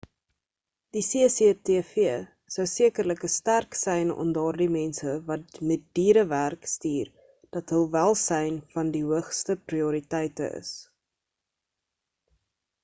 die cctv sou sekerlik 'n sterk sein aan daardie mense wat met diere werk stuur dat hul welsyn van die hoogste prioriteite is